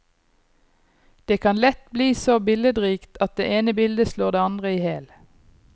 Det kan lett bli så billedrikt at det ene bildet slår det andre i hjel.